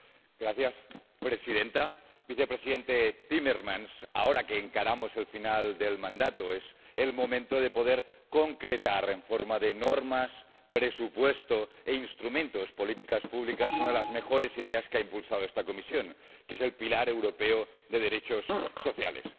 Señora presidenta, vicepresidente Timmermans, ahora que encaramos el final del mandato, es el momento de poder concretar en forma de normas, presupuesto e instrumentos de políticas públicas una de las mejores ideas que ha impulsado esta Comisión, que es el pilar europeo de derechos sociales.